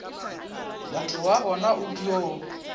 motho wa bona o dio